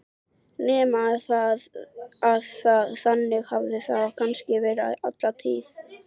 Nema að þannig hafi það kannski verið alla tíð.